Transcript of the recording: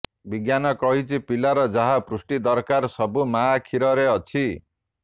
ବିଜ୍ଞାନ କହିଛି ପିଲାର ଯାହା ପୁଷ୍ଟି ଦରକାର ସବୁ ମାଆ କ୍ଷୀରରେ ଅଛି